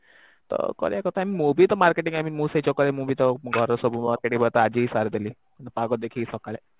ତ କରିଆ କଥା ମୁଁ ବି ତ marketing I mean ମୁ ସେ ଚକ୍କର ରେ ମୁ ବି ତ ଘର ର ସବୁ Marking ପତ୍ର ଆଜି ହି ସାରିଦେଲି ପାଗ ଦେଖିକି ସକାଳେ